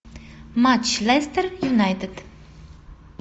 матч лестер юнайтед